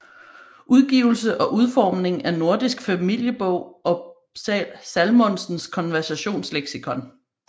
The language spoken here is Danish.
Udgivelse og udforming af Nordisk familjebok og Salmonsens Konversationsleksikon